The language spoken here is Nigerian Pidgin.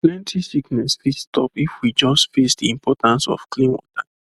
plenty sickness fit stop if we just face the importance of clean water